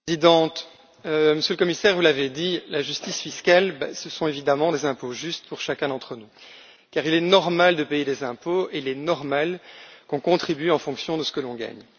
Madame la Présidente, Monsieur le Commissaire, vous l'avez dit, la justice fiscale, ce sont évidemment des impôts justes pour chacun d'entre nous, car il est normal de payer des impôts et il est normal qu'on contribue en fonction de ce que l'on gagne.